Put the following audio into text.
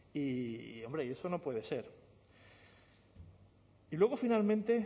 y hombre eso no puede ser y luego finalmente